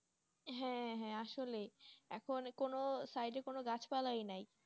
হ্যাঁ হ্যাঁ আসলে এখন কোনো side গাছ পালা নাই